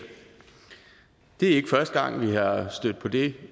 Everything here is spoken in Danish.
det er ikke første gang vi er stødt på det